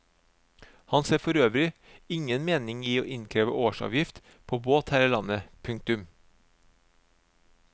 Han ser forøvrig ingen mening i å innkreve årsavgift på båt her i landet. punktum